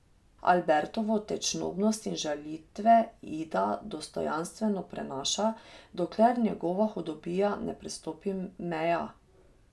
Albertovo tečnobnost in žalitve Ida dostojanstveno prenaša, dokler njegova hudobija ne prestopi meja.